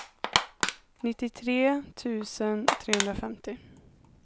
nittiotre tusen trehundrafemtio